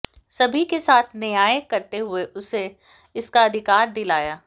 सभी के साथ न्याय करते हुए उसे इसका अधिकार दिलाया